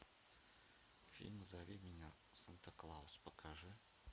фильм зови меня санта клаус покажи